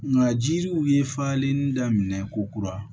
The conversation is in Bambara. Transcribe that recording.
Nka jiriw ye falenli daminɛ ko kura